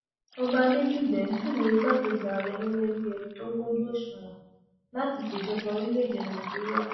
ọba adéjúgbẹ júwe igbákejì ààrẹ gẹgẹ bíi ẹni tó kún ojú òṣùwọn láti ṣèjọba orílẹèdè nàíjíríà